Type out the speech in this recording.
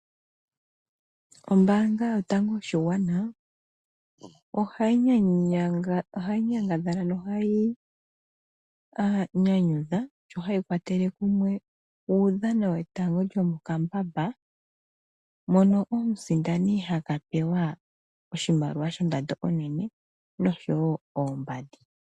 Ombaanga yotango yoshigwana , ohayi nyangadhala nohayi nyanyudha shohayi kwatele kumwe uudhano wetanga lyomokambamba mono omusindani haka pewa oshimaliwa shondando onene noshowoo oombandi.